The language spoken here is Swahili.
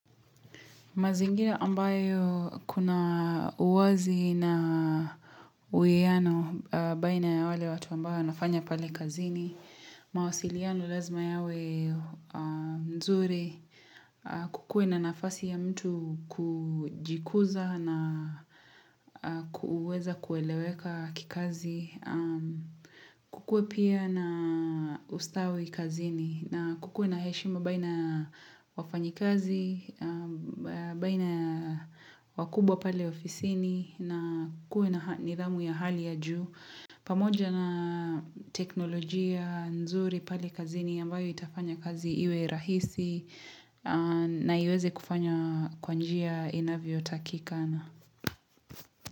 Mazingira ambayo kuna uwazi na uwiano baina ya wale watu ambao nafanya pale kazini, mawasiliano lazima yawe nzuri, kukuwe na nafasi ya mtu kujikuza na kuweza kueleweka kikazi, kukuwe pia na ustawi kazini na kukuwe na heshima baina wafanyi kazi baina wakubwa pale ofisini na kukuwe na nidhamu ya hali ya juu pamoja na teknolojia nzuri pale kazini ambayo itafanya kazi iwe rahisi na iweze kufanya kwa njia inavyotakikana.